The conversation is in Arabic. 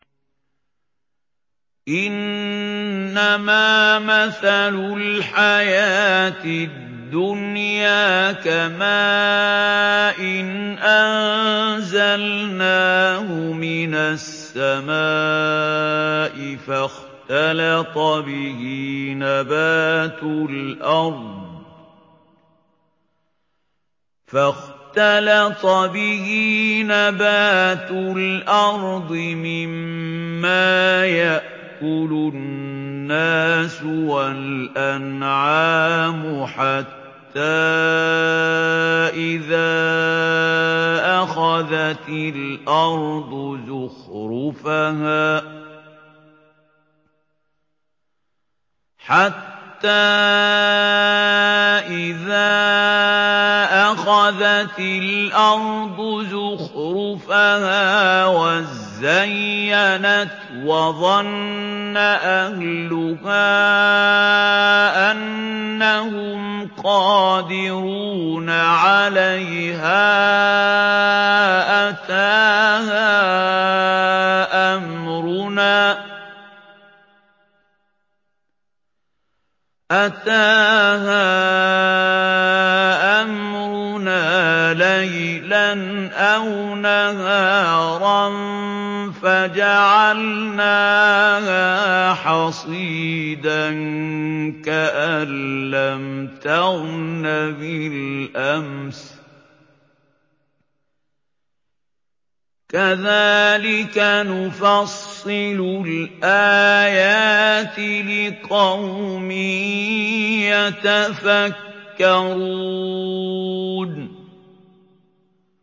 إِنَّمَا مَثَلُ الْحَيَاةِ الدُّنْيَا كَمَاءٍ أَنزَلْنَاهُ مِنَ السَّمَاءِ فَاخْتَلَطَ بِهِ نَبَاتُ الْأَرْضِ مِمَّا يَأْكُلُ النَّاسُ وَالْأَنْعَامُ حَتَّىٰ إِذَا أَخَذَتِ الْأَرْضُ زُخْرُفَهَا وَازَّيَّنَتْ وَظَنَّ أَهْلُهَا أَنَّهُمْ قَادِرُونَ عَلَيْهَا أَتَاهَا أَمْرُنَا لَيْلًا أَوْ نَهَارًا فَجَعَلْنَاهَا حَصِيدًا كَأَن لَّمْ تَغْنَ بِالْأَمْسِ ۚ كَذَٰلِكَ نُفَصِّلُ الْآيَاتِ لِقَوْمٍ يَتَفَكَّرُونَ